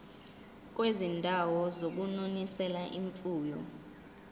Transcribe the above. kwizindawo zokunonisela imfuyo